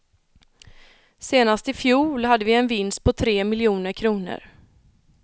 Senast i fjol hade vi en vinst på tre miljoner kronor.